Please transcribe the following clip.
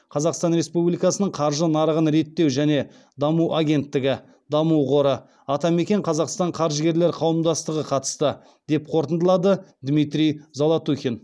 қазақстан республикасының қаржы нарығын реттеу және даму агенттігі даму қоры атамекен қазақстан қаржыгерлер қауымдастығы қатысты деп қорытындылады дмитрий золотухин